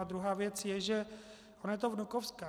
A druhá věc je, že ono je to vnukovská.